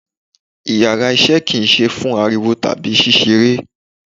Íyarà iṣẹ ki ń sẹ fún aríwó tabi sísẹ́rẹ́